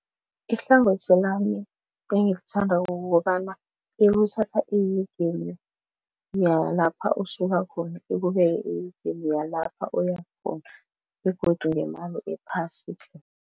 Ihlangothi lami engilithanda kukobana ikuthatha ehegeni yalapha usuka khona ikubeke ehegeni yalapha uyakhona begodu ngemali ephasi tle.